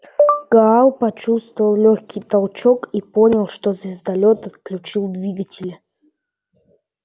гаал почувствовал лёгкий толчок и понял что звездолёт отключил двигатели